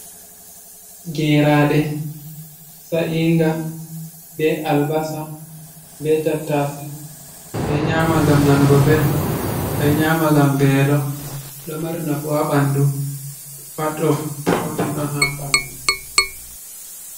Gerade sa’inga be albasa, be tatase, ɓe nyama ngam nanugo ɓeldum, ɓe nyama ngam velo, ɗo mari nafu ha ɓanɗu pat of protein on ha ɓanɗu.